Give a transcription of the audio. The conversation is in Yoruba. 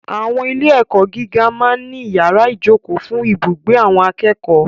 Àwọn ilé-ẹ̀kọ́ gíga máa ń ní yàrá ìjókòó fún ibùgbé àwọn akẹ́kọ̀ọ́.